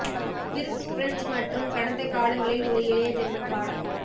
விர்வ்ஸ் French மற்றும் கடந்த காலங்களில் ஒரு எளிய ஜெர்மன் பாடம்